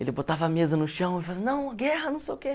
Ele botava a mesa no chão e fazia assim, não, guerra, não sei o quê.